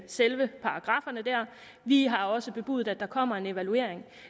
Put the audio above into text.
selve paragrafferne dér og vi har også bebudet at der kommer en evaluering